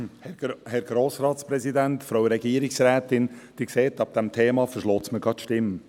Sie hören, bei diesem Thema verschlägt es mir die Stimme.